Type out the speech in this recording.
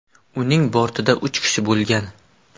Uning bortida uch kishi bo‘lgan.